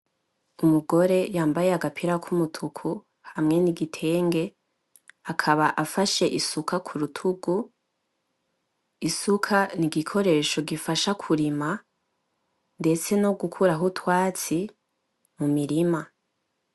Umugore yambaye agapira k'umutuku hamwe n'igitenge, akaba afashe isuka ku rutugu, isuka ni igikoresho gikoreshwa kurima, ndetse no gukuraho utwatsi mu mirima.